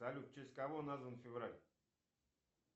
салют в честь кого назван февраль